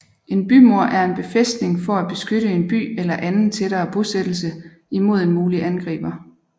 En bymur er en befæstning for at beskytte en by eller anden tættere bosættelse imod en mulig angriber